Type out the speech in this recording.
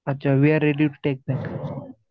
अच्छा we are ready to take that.